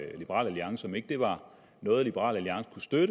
liberal alliance om ikke det var noget liberal alliance kunne støtte